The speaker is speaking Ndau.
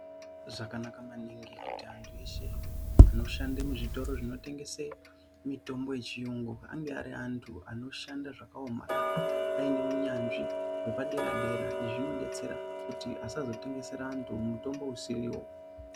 Zvakanaka maningi kuti antu eshe anoshande muzvitoro zvinotengese mitombo yechiyungu ange ari antu anoshande zvakaomarara aine unyanzvi hwepadera-dera. Izvi zvinodetsera kuti asazotengesera antu mutombo usiriwo.